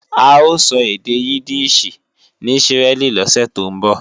A ó sọ èdè Yídíìṣì ní Ísírẹ́lì lọ́sè tó ń bọ̀